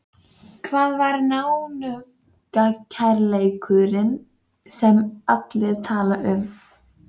Víkingseðli og dugnaður hennar er sómi þjóðarinnar í heild.